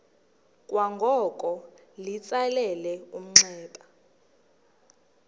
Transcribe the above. kwangoko litsalele umnxeba